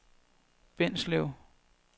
Bindslev